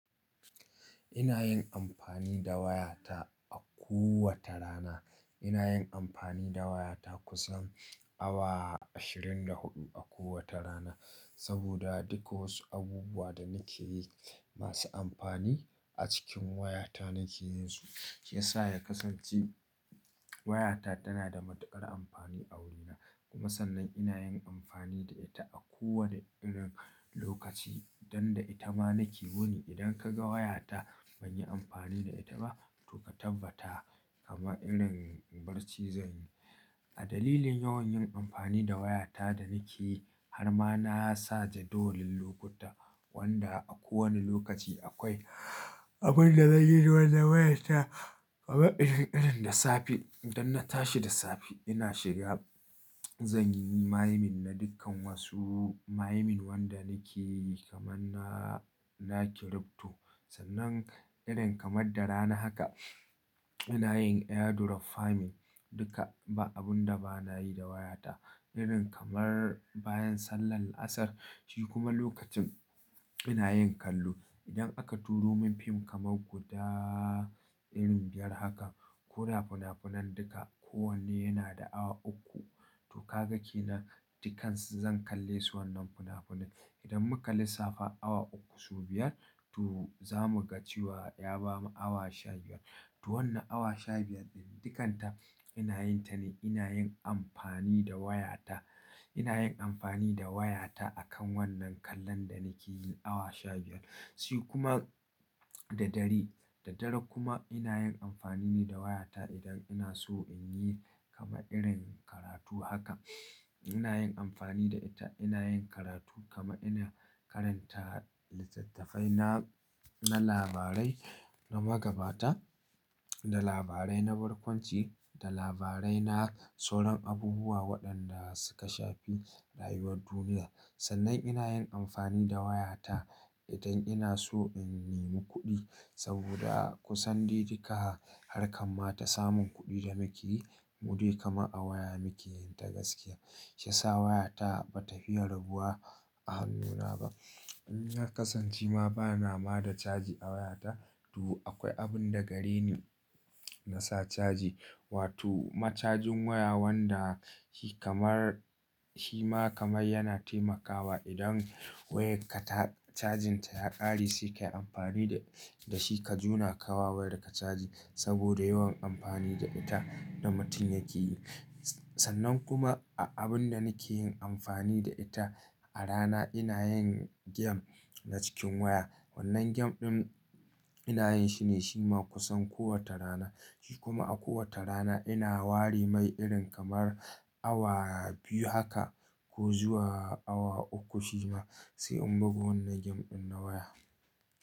Ina yin amfani da wayata a kowace rana. Ina yin amfani da wayata kusan awa ashirin da huɗu a kowace rana saboda duk wasu abubuwa da nake yi masu amfani a cikin wayata nake yin su. Shi ya sa ya kasance wayata tana da matuƙar amfani a wurina. Kuma sannan ina yin amfani da ita a kowane irin lokaci don da ita ma nake wuni. Idan ka ga wayata ban yi amfani da ita ba to ka tabbata kamar irin barci zan yi. A dalilin yawan yin amfani da wayata da nake yi har ma na sa jadawalin lokuta wanda a kowane lokaci akwai abin da zanyi wanda wayata kamar irin irin da safe don na tashi da safe ina shiga zan yi «Maymin» na dukkan wasu mayimin wanda nake yi kamar na, na kirifto. Sannan irin kamar da rana haka ina yin «Airdrop farming» duka ba abun da ba na yi da wayata. Irin kamar bayan sallar Asar shi kuma lokacin ina yin kallo. Idan aka turo min fim kamar guda irin biyar haka ko da fina-finan duka kowanne yana da awa uku to ka ga ke nan dukansu zan kalle su wannan fina-finan. Idan muka lissafa awa uku su biyar to za mu ga cewa ya ba mu awa shabiyar. To wannan awa shabiyar ɗin dukanta ina yin ta ne ina yin amfani da wayata. Ina yin amfani da wayata akan wannan kallon da nake yi awa shabiyar. Shi kuma da dare, da dare kuma ina yin amfani ne da wayata idan ina so in yi kamar irin karatu haka. Ina yin amfani da ita ina yin karatu kama ina karanta littattafai na, na labarai na magabata da labarai na barkwanci da labarai na sauran abubuwa waɗanda suka shafi rayuwar duniya. Sannan ina yin amfani da wayata idan ina so in nemi kuɗi saboda kusan dai duka harkan ma ta samun kuɗi da nake yi mudai kamar a a waya muke yin ta gaskiya. Shi ya sa wayata ba ta fiya rabuwa a hannuna ba. Na kasance ma bana ma da caji a wayata to akwai abin da gare ni nasa caji. Wato macajin waya wanda shi kamar, shi ma kamar yana taimakawa idan wayar ka ta cajin ta ya ƙare sai ka yi amfani da, da shi ka juna ka wa wayarka ka caji saboda yawan amfani da ita da mutum yake yi. Sannan kuma a abun da nake yin amfani da ita a rana ina yin game na cikin waya. Wannan game ɗin ina yin shi ne shi ma kusan kowace rana. Shi kuma a kowace rana ina ware mai irin kamar awa biyu haka ko zuwa awa uku shi ma sai in bugu wannan gem ɗin na waya.